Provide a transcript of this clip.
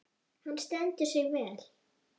Hann stendur sig vel.